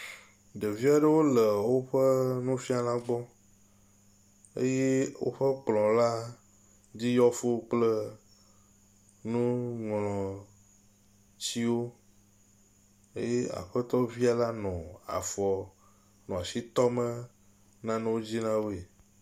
Ɖevi aɖewo le woƒe nufiala gbɔ eye woƒe kplɔ la dzi yɔ fuu kple nuŋlɔtiwo. Eye aƒetɔvi la nɔ afɔ, asi tɔ nane dzi na woe.